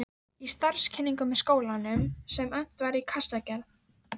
Í starfskynningu með skólanum, sem efnt var til í Kassagerð